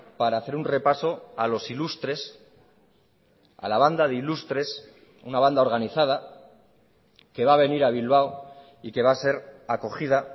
para hacer un repaso a los ilustres a la banda de ilustres una banda organizada que va a venir a bilbao y que va a ser acogida